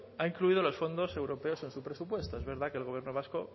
ha incluido los fondos europeos en esos presupuestos es verdad que el gobierno vasco